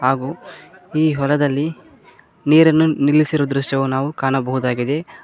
ಹಾಗು ಈ ಹೊಲದಲ್ಲಿ ನೀರಿನ್ನು ನಿಲ್ಲಿಸಿರು ದ್ರಶ್ಯವು ನಾವು ಕಾಣಬಹುದಾಗಿದೆ.